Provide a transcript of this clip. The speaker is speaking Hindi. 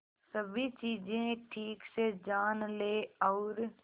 सभी चीजें ठीक से जान ले और